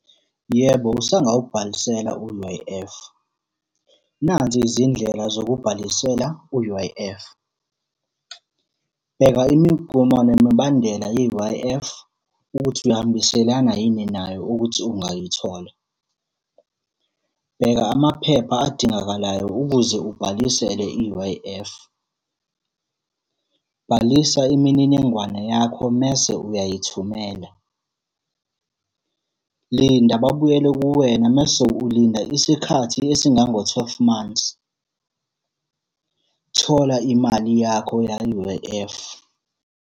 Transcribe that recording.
Yebo, usangawubhalisela u-U_I_F. Nazi izindlela zokubhalisela u-U_I_F. Bheka imigomo nemibandela ye-U_I_F,ukuthi uyahambiselana yini nayo ukuthi ungayithola. Bheka amaphepha adingakalayo ukuze ubhalisele i-U_I_F. Bhalisa imininingwane yakho mese uyayithumela. Linda babuyele kuwena mese ulinda isikhathi esingango-twelve months. Thola imali yakho ya-U_I_F.